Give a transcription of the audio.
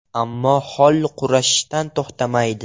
Ammo Holl kurashishdan to‘xtamaydi.